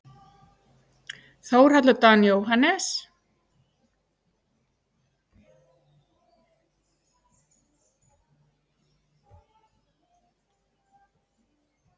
Þórhallur Dan Jóhannes.